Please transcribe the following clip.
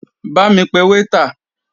Bá mi pe waiter.